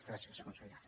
gràcies conseller